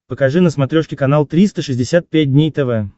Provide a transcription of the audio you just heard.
покажи на смотрешке канал триста шестьдесят пять дней тв